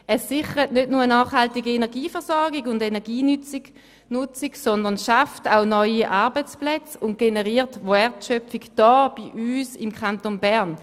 Es sichert nicht nur eine nachhaltige Energieversorgung und Energienutzung, sondern es schafft auch neue Arbeitsplätze und generiert Wertschöpfung im Kanton Bern.